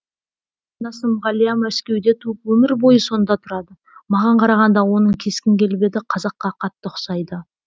қарындасым ғалия мәскеуде туып өмір бойы сонда тұрады маған қарағанда оның кескін келбеті қазаққа қатты ұқсайды